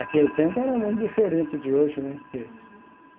Aquele tempo era muito diferente de hoje, né, porque.